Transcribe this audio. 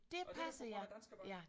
Og det er jo på grund af Danske Bank